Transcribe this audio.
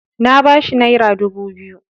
Na bashi naira dubu biyu.